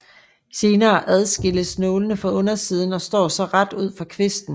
Senere adskilles nålene fra undersiden og står så ret ud fra kvisten